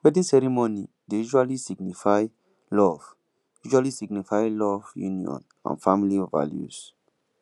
wedding ceremony dey usually signify love usually signify love union and family values